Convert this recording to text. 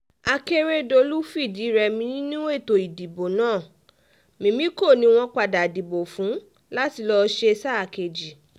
akèrèdọ́lù fìdí-rẹmi nínú ètò ìdìbò náà mímíkọ́ ni wọ́n padà dìbò fún láti lọ́ọ́ ṣe sáà kejì